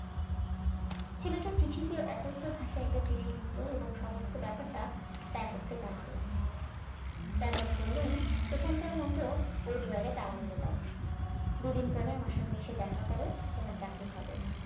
ছেলেটা চিঠিতে অকথ্য ভাষায় একটা চিঠি লিখল এবং সমস্ত ব্যাপারটা স্ট্রাটফোর্ডকে জানাল স্ট্রাটফোর্ড বললেন এখানকার মত ওই drawer এ তালা মেরে দাও দুদিন পরে আমার সঙ্গে এসে দেখা কর তোমার চাকরি হবে